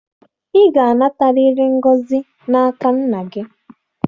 Ị ga-anatarịrị ngọzi n'aka nna gị!